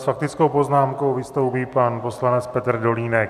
S faktickou poznámkou vystoupí pan poslanec Petr Dolínek.